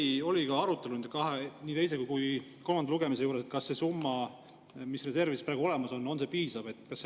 Kas oli ka arutelu teisel ja kolmandal lugemisel, kas see summa, mis reservides praegu olemas on, on piisav?